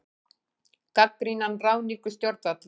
Gagnrýna ráðningu stjórnvalda